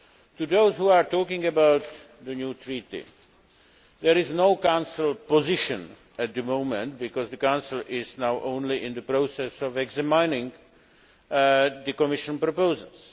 To those who are talking about the new treaty, there is no Council position at the moment because the Council is only now in the process of examining the Commission proposals.